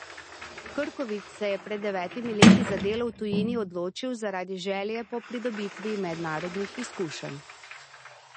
Krkovič se je pred devetimi leti za delo v tujini odločil zaradi želje po pridobitvi mednarodnih izkušenj.